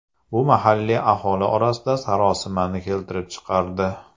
Bu mahalliy aholi orasida sarosimani keltirib chiqardi.